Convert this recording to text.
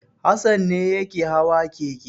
Hassan ne yake hawa keke.